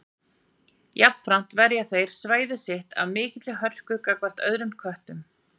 Jafnframt verja þeir svæðið sitt af mikilli hörku gagnvart öðrum köttum.